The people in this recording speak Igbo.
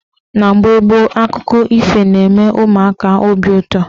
Na mgbe gboo, akụkọ ifo na-eme ụmụaka obi ụtọ.